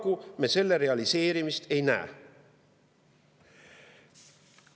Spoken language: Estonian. Paraku me selle realiseerimist ei näe.